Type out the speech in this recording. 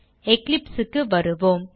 Eclipse க்கு வருவோம்